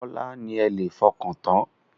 Bọ́lá ni ẹ lè fọkàntán.